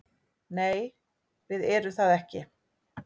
Nei, við erum það ekki